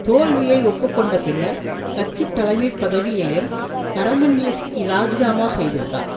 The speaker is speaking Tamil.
தோல்வியை ஒப்பு கொண்ட பின்னர் கட்சி தலைமை பதவியையும் கரமன்லிஸ் இராஜிநாமா செய்துள்ளார்